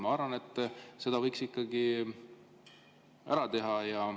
Ma arvan, et selle võiks ikkagi ära teha.